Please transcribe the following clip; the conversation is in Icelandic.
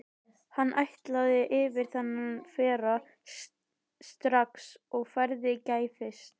Hann ætlaði yfir þennan frera strax og færi gæfist.